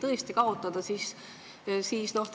Te